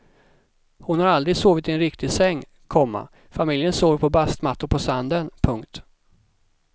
Hon har aldrig sovit i en riktig säng, komma familjen sover på bastmattor på sanden. punkt